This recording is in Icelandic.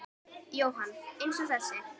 Jóhann: Eins og þessi?